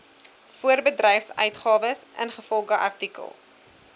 voorbedryfsuitgawes ingevolge artikel